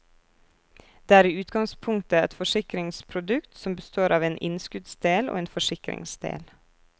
Det er i utgangspunktet et forsikringsprodukt som består av en innskuddsdel og en forsikringsdel.